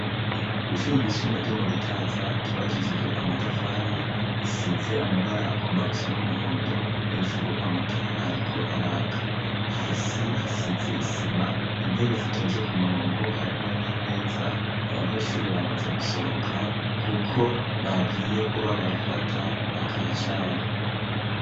Kwishuri ry'isumbuye ryo mu Gitaza ryubakishije amatafari. Isize amabara agomba gusa n'umuhondo hejuru amatara ariko araka, hasi hasize isima intebe zitonze ku murongo harimwo n'imeza abanyeshuri bamaze gusohoka kuko bagiye kuba barafata akacayi.